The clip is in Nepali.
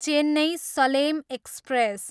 चेन्नई, सलेम एक्सप्रेस